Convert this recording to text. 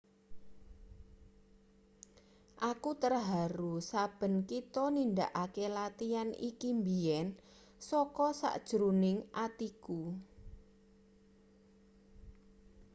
aku terharu saben kita nindakake latian iki mbiyen saka sajroning atiku